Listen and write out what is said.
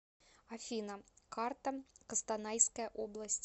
афина карта костанайская область